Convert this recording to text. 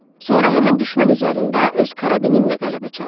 Sonra həmin düşmən üzərində öz karabinimlə qələbə çaldım.